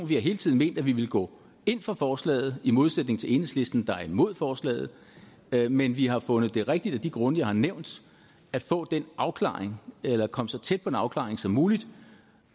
vi har hele tiden ment at vi ville gå ind for forslaget i modsætning til enhedslisten der er imod forslaget men men vi har fundet det rigtigt af de grunde jeg har nævnt at få den afklaring eller komme så tæt på en afklaring som muligt